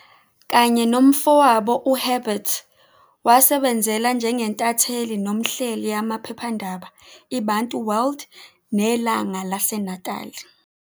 Kanye nomfowabo uHerbert, wasebenzela njengentatheli nomhleli amaphephandaba "i-Bantu World" ne"Langa laseNatali".